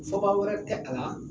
Fɔba wɛrɛ tɛ a la